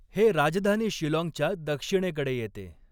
हे राजधानी शिलाँगच्या दक्षिणेकडे येते.